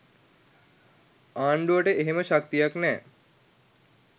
ආණ්ඩුවට එහෙම ශක්තියක් නෑ.